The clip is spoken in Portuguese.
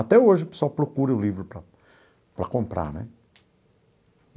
Até hoje, o pessoal procura o livro para para comprar né.